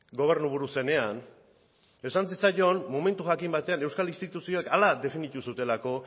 gobernuburu zenean esan zitzaion momentu jakin batean euskal instituzioek hala definitu zutelako